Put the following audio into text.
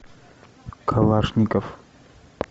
калашников